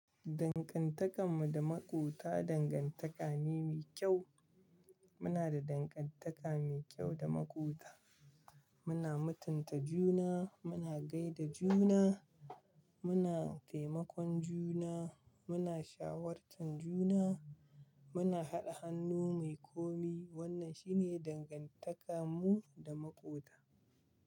Dangantakar mu da maƙwabta dangantaka ne mai kyau. Muna da dangantaka mai kyau da maƙwabta. Muna mutunta juna, muna gai da juna, muna taimakon juna, muna shawartar juna, muna haɗa hannu muyi kome. Wannan shine dangantakar mu da maƙwabta.